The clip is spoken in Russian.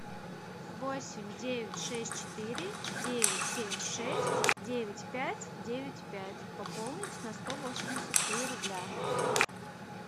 восемь девять шесть четыре девять семь шесть девять пять девять пять пополнить на сто восемьдесят три рубля